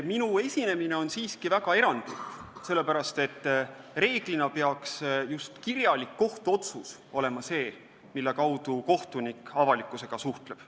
Minu esinemine on siiski väga erandlik, sellepärast et reeglina peaks just kirjalik kohtuotsus olema see, mille kaudu kohtunik avalikusega suhtleb.